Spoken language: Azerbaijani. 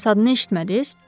Bəs adını eşitmədiniz?